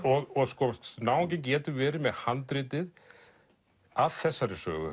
náunginn getur verið með handritið að þessari sögu